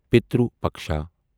پترو پکشا